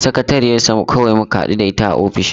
Sakatariyar sa kawai muka hadu da a ofishin.